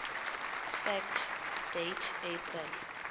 fact date april